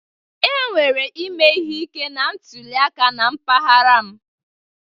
E nwere ime ihe ike na ntụliaka na mpaghara m.